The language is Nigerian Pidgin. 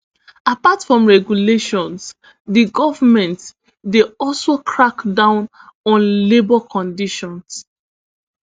apart from regulations di goment dey also crack down on labour conditions